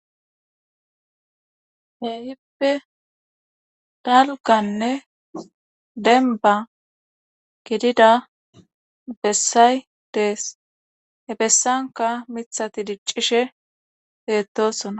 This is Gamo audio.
he hippe dalkanne denba gidida bessay dees he bessanka mithati diccishe beettosona